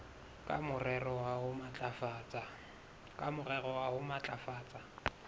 ka morero wa ho matlafatsa